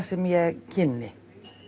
sem ég kynni